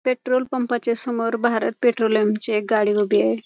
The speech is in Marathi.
पेट्रोल पंपाच्यासमोर भारत पेट्रोलियमची एक गाडी उभी आहे.